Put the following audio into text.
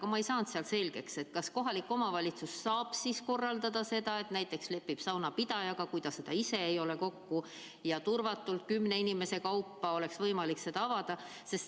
Aga ma ei saanud selgeks, kas kohalik omavalitsus saab korraldada seda, et näiteks lepib kokku saunapidajaga, kui ta seda ise ei ole, ja turvatult kümne inimese kaupa oleks võimalik seal pesta.